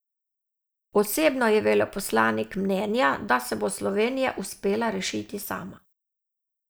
Osebno je veleposlanik mnenja, da se bo Slovenija uspela rešiti sama.